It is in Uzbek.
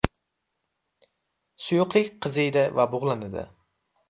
Suyuqlik qiziydi va bug‘lanadi.